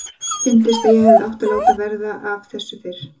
Fyndist að ég hefði átt að láta verða af þessu fyrr.